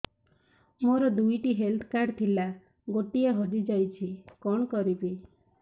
ମୋର ଦୁଇଟି health card ଥିଲା ଗୋଟିଏ ହଜି ଯାଇଛି କଣ କରିବି